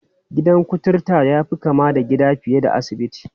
Gidan kuturta ya fi kama da gida fiye da asibiti.